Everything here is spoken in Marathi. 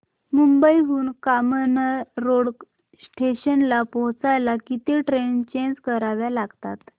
मुंबई हून कामन रोड स्टेशनला पोहचायला किती ट्रेन चेंज कराव्या लागतात